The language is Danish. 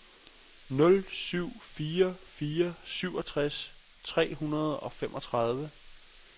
nul syv fire fire syvogtres tre hundrede og femogtredive